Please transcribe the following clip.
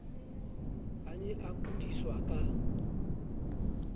a ne a kudiswa ka